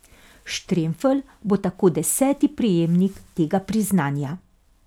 Štremfelj bo tako deseti prejemnik tega priznanja.